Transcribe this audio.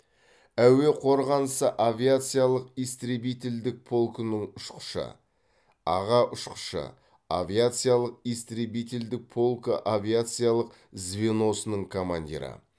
әуе қорғанысы авиациялық истребительдік полкының ұшқышы аға ұшқышы авиациялық истребителдік полкы авиациялық звеносының командирі